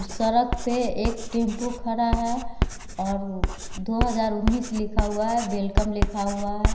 सड़क पे एक टेम्पो खड़ा है और दो हजार उन्नीस लिखा हुआ है वेलकम लिखा हुआ है।